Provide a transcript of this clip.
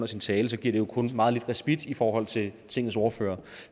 sin tale giver det jo kun meget lidt respit i forhold til tingets ordførere